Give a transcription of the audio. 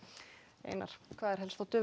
einar hvað er á döfinni